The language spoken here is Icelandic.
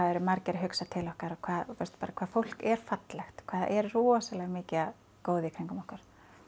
eru margir að hugsa til okkar og bara hvað fólk er fallegt hvað það er rosalega mikið af góðu í kringum okkur